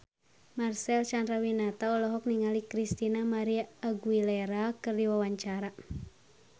Marcel Chandrawinata olohok ningali Christina María Aguilera keur diwawancara